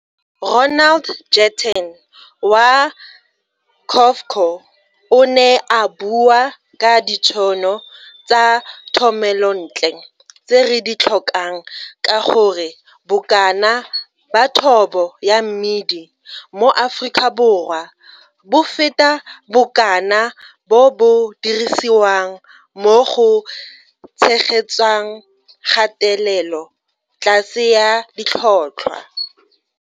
Ronald Jetten wa COFCO o ne a bua ka ditšhono tsa thomelontle tse re di tlhokang ka gore bokana ba thobo ya mmidi mo Afrikaborwa bo feta bokana bo bo dirisiwang mo go tshegetsang kgatelelo tlase ya ditlhotlhwa.